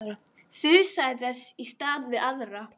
Þusaði þess í stað við aðra.